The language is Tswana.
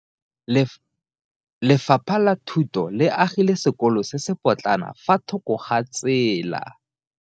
Lefapha la Thuto le agile sekolo se se potlana fa thoko ga tsela.